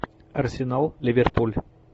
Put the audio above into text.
арсенал ливерпуль